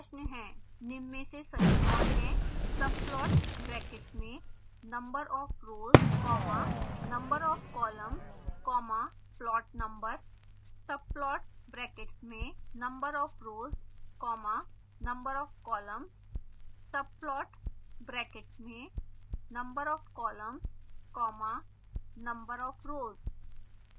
1निम्न में से सही कौन है